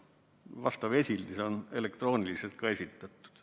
Vastav esildis on elektrooniliselt ka esitatud.